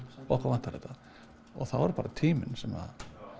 okkur vantar þetta þá er það bara tíminn sem